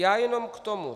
Já jenom k tomu.